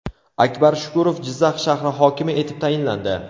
Akbar Shukurov Jizzax shahri hokimi etib tayinlandi.